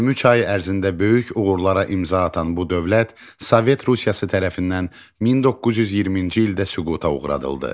23 ay ərzində böyük uğurlara imza atan bu dövlət Sovet Rusiyası tərəfindən 1920-ci ildə süquta uğradıldı.